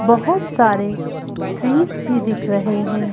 बहुत सारे ट्रीज भी दिख रहे हैं।